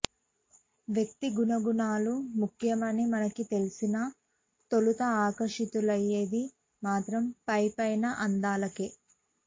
వ్యక్తి గుణగుణాలు ముఖ్యమని మనకు తెలిసినా తొలుత ఆకర్షితులయ్యేది మాత్రం పై పైన అందాలకే